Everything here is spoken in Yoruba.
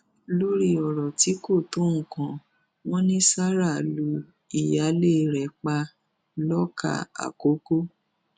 lórí ọrọ tí kò tó nǹkan wọn ni sarah lu ìyáálé rẹ pa lọkà àkọkọ